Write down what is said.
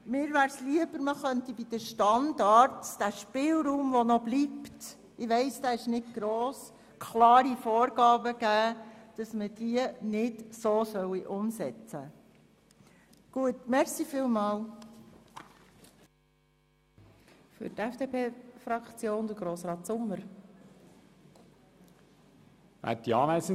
Mir wäre es lieber, man könnte bei den Standards den bleibenden, wenn auch kleinen Spielraum nutzen, um klare Vorgaben zu geben, damit dieser nicht umgesetzt wird.